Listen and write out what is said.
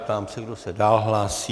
Ptám se, kdo se dál hlásí.